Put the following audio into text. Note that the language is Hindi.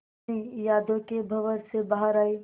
रश्मि यादों के भंवर से बाहर आई